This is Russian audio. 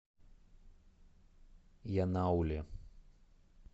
янауле